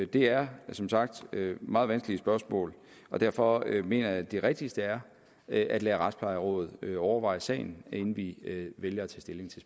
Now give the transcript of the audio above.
det er som sagt meget vanskelige spørgsmål og derfor mener jeg at det rigtigste er at at lade retsplejerådet overveje sagen inden vi vælger at tage stilling til